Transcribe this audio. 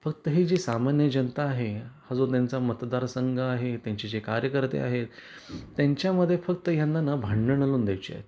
फक्त हे जी सामान्य जनता आहे, हा जो त्यांचा मतदारसंघ आहे त्यांचे जे कार्यकर्ते आहेत त्यांच्या मध्ये फक्त यांना ना भांडण लावून द्यायची आहेत.